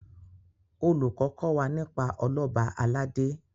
olùkó kò wá nípa Ọlọba aládé